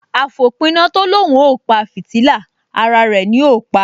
Àfòpiná tó l’óun ó pa fìtílà, ara rẹ̀ ni ó pa